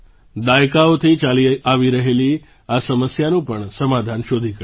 દાયકાઓથી ચાલી આવી રહેલી આ સમસ્યાનું પણ સમાધાન શોધી કઢાયું છે